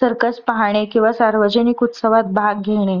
circus पाहणे किंवा सार्वजनिक उत्सवात भाग घेणे